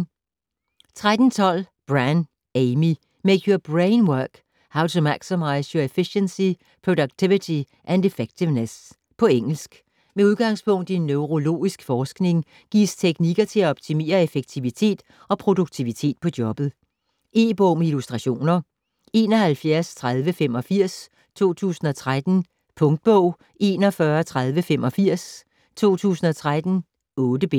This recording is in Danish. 13.12 Brann, Amy: Make your brain work: how to maximize your efficiency, productivity and effectiveness På engelsk. Med udgangspunkt i neurologisk forskning gives teknikker til at optimere effektivitet og produktivitet på jobbet. E-bog med illustrationer 713085 2013. Punktbog 413085 2013. 8 bind.